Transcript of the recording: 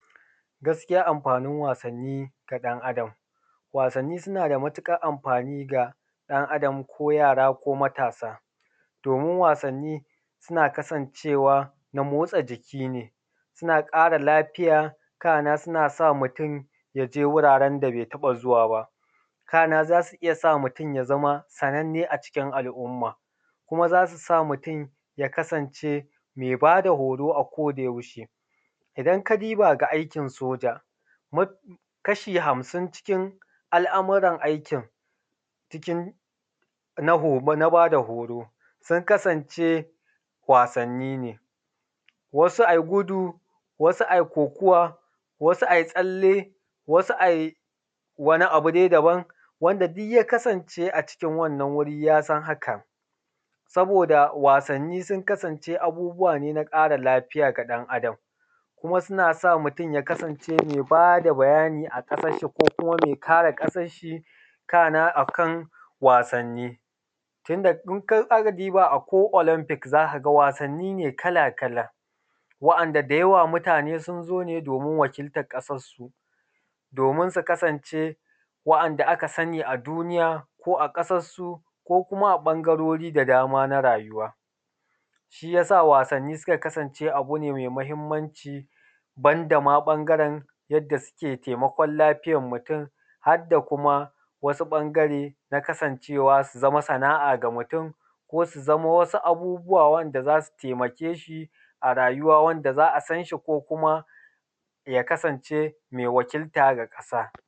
Gaskiya amfanin wasanni ga ɗan Adam. Wasanni suna da matuƙar amfani ga ɗan Adam ko yara ko matasa domin wasanni suna kasancewa na motsa jiki ne suna ƙara lafiya kana yana sa mutum ya je guraren da be taɓa zuwa ba. Kana yana sa mutum ya zama sananne a cikin al’umma, kuma zai sa mutum ya zama me ba da horo akodayaushe idan ka diba da aikin soja, kashi hamsin cikin al’amuran jikin na bada horo sun kasance wasanni ne, wasu a yi gudu, wasu a yi kokuwa, wasu a yi tsalle, wasu a yi wani abu dai daban wanda duk ya kasance a cikin wannan wuri ya sa hakan saboda wasanni sun kasance abubbuwa ne na ƙara lafiya ga ɗan Adam. Kuma yana sa mutum ya kasance me ba da bayani a ƙasanshi kuma ya kare ƙasan shi, kana a kan wasanni sannan idan ka duba akwai olanfik za ka ga wasanni ne kala-kala wa’anda da yawa mutane sun zo ne domin wakiltan ƙasansu; domin su kasance waɗanda aka sani a duniya ko a ƙasansu ko kuma a ɓangarori da daban da ban na rayuwa, shi yasa wasanni suka kasance abu ne me mahinmanci wanda ma ɓangaren suke taimakon lafiyan jikin mutum har da kuma wasu ɓangare na kasance wa zama san’a ga mutum ko su zamanto wasu abubbuwa wanda za su taimake shi a rayuwa. Wanda za a san shi ko kmma ya kasance me wakilta da ƙasa.